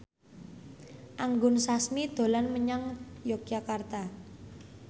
Anggun Sasmi dolan menyang Yogyakarta